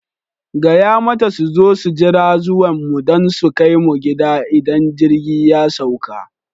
Gaya mata su zo su jira zuwan mu don su kai mu gida idan jirgi ya sauka!